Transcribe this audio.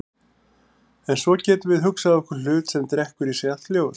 En svo getum við hugsað okkur hlut sem drekkur í sig allt ljós.